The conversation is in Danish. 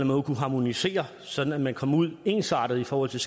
måde kunne harmonisere sådan at man kom ud ensartet i forhold til